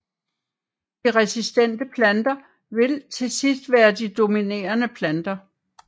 De resistente planter vil til sidst være de dominerende planter